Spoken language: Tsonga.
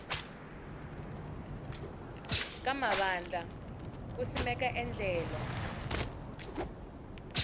ka mavandla ku simeka endlelo